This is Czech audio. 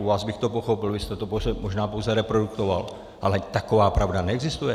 U vás bych to pochopil, vy jste to možná pouze reprodukoval, ale taková pravda neexistuje.